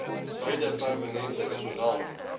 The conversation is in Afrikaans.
beide permanente sowel